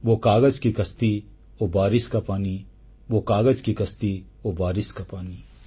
ବୋ କାଗଜ କି କସ୍ତି ବୋ ବାରିଶ କା ପାନି